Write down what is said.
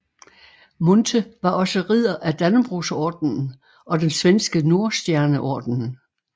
Munthe var også ridder af Dannebrogsordenen og den svenske Nordstjerneordenen